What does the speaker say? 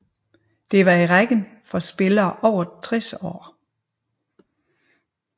Det var i rækken for spillere over 60 år